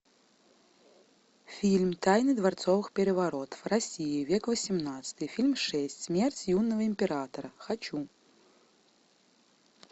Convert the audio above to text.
фильм тайны дворцовых переворотов россия век восемнадцатый фильм шесть смерть юного императора хочу